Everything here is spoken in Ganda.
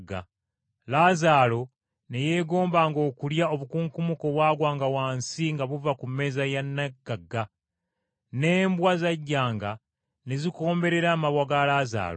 Laazaalo ne yeegombanga okulya obukunkumuka obwagwanga wansi nga buva ku mmeeza ya nnaggagga. N’embwa zajjanga ne zikomberera amabwa ga Laazaalo.